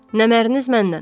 Nəməriniz məndən.